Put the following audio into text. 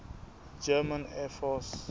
german air force